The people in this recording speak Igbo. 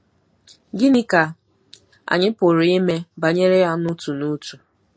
Gịnị ka anyị pụrụ ime banyere ya n'otu n'otu?